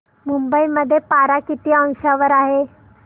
मुंबई मध्ये पारा किती अंशावर आहे